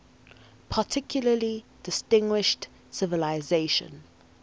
particularly distinguished civilization